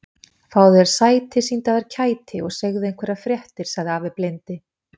Fáðu þér sæti, sýndu af þér kæti og segðu einhverjar fréttir sagði afi blindi.